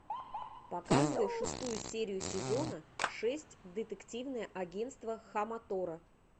показывай шестую серию сезона шесть детективное агенство хаматора